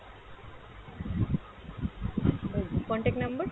contact number?